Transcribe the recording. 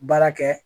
Baara kɛ